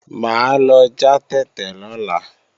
Mà á lọ já tètè lọ́la